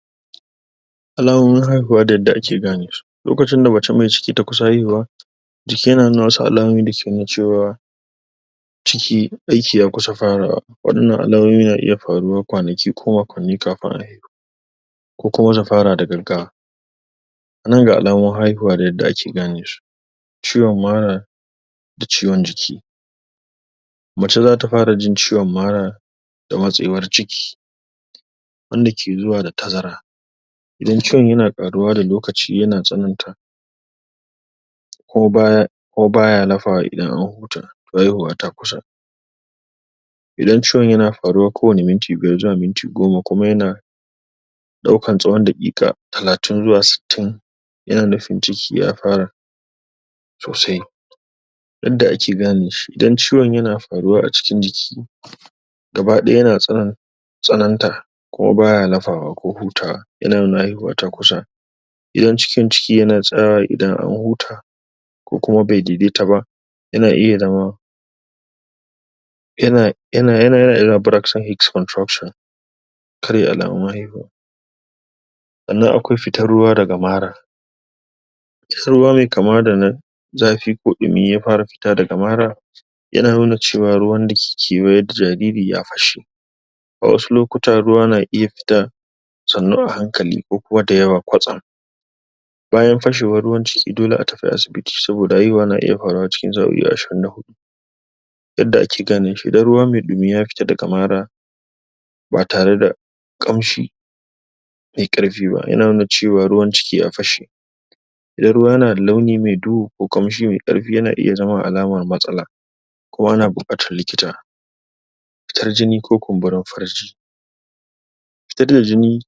? Alamomin haihuwa da yadda ake ganesu. Lokacin da mace mai ciki ta kusa haihuwa,? jiki ya na nuna wasu alamomi da ke nuna cewa,? ciki aiki ya kusa farawa. Waɗannan alamomi na iya faruwa kwanaki ko makonni kafin a haihu.? Ko kuma ta fara da gaggawa.? Nan ga alamomin haihuwa da yadda ake ganesu.? Ciwon mara? da ciwon jiki.? Macce za ta fara jin ciwon mara,? da matsewar ciki,? wanda ke zuwa da tazara.? Idan ciwon yana ƙaruwa da lokaci yana tsananta,? kuma baya kuma baya lafawa idan an huta, toh haihuwa ta kusa.? Idan ciwon yana ƙaruwa kowane minti 5 zuwa minti 10 kuma yana? ɗaukan tsawan daƙiƙa 30 zuwa 60,? yana nufin ciki ya fara,? sosai.? Yadda ake ganeshi. Idan ciwon yana faruwa a cikin jiki,? gaba-ɗaya yana tsanan,? tsananta kuma baya lafawa ko hutawa, ya na nuna haihuwa ta kusa.? Idan cikin ciki yana tsayawa idan an huta,? ko kuma bai daidaita ba,? ya na iya zama,? Karya alamomin haihuwa.? Sannan akwai fitar ruwa daga mara.? Fitan ruwa mai kama da na zafi ko ɗumi ya fara fita daga mara,? yana nuna cewa ruwan da ke kewaye da jariri ya fashe.? A wasu lukuta ruwa na iya fita,? sannu a hankali ko kuma dayawa kwatsam.? Bayan fashewar ruwan ciki dole a tafi asabiti saboda haihuwa na iya faruwa cikin sa'o'i 24.? Yadda ake ganeshi. Idan ruwa mai ɗumi ya fita daga mara,? ba tare da,? ƙamshi,? mai ƙarfi ba yana nuna cewa ruwan ciki ya fashe.? Idan ruwa na da launi mai duhu ko ƙamshi mai ƙarfi yana iya zama alama matsala.? Ko ana buƙatan likita.? Fitar jiki ko kumburin farji.? Fitar da jini,?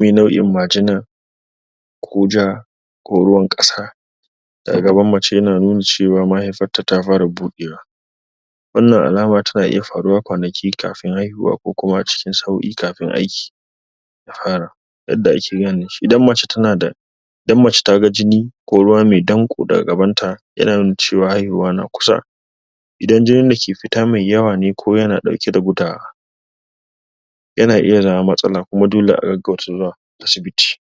mai nau'in majina,? ko ja,? ko ruwan ƙasa, daga gaban macce yana nuna cewa mahaifarta ta fara bodewa.? Wannan alama tana iya faruwa kwanaki kafin haihuwa ko kuma sa'o'i kafin aiki.? Ɗahara.? Yadda ake ganeshi. Idan macce tanada,? Idan macce taga jini, ko ruwa mai ɗanƙo daga gabanta, yana nuna cewa haihuwa na kusa.? Idan jinin dake fita mai yawa ne ko yana dauke da gudawa,? yana iya zama matsala kuma dole a gaggauta zuwa asibiti.